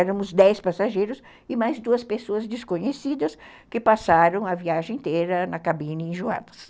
Éramos dez passageiros e mais duas pessoas desconhecidas que passaram a viagem inteira na cabine enjoadas.